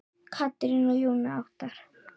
Katrín og Jón Óttarr.